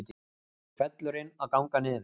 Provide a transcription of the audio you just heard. Hvellurinn að ganga niður